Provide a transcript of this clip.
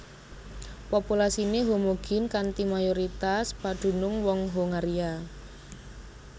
Populasiné homogin kanthi mayoritas padunung wong Hongaria